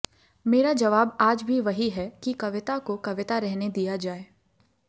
मेरा जवाब आज भी वही है कि कविता को कविता रहने दिया जाए